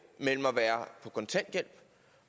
mellem at være på kontanthjælp